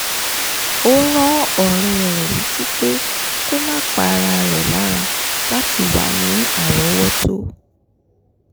ó rán ọ̀rẹ́ rẹ̀ létí pé kó má pa ara rẹ̀ lára láti wà ní árọ̀ọ́wọ́tó